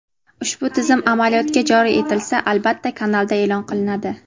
Ushbu tizim amaliyotga joriy etilsa albatta kanalda e’lon qilinadi.